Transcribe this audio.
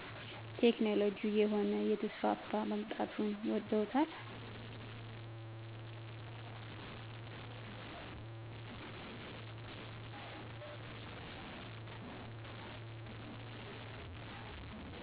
ቴክኖሎጅ እየሆነ እየተስፋፋ መምጣቱን ውደውታል